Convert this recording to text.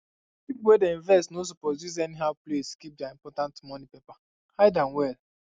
people wey dey invest no suppose use anyhow place keep their important money paper hide am well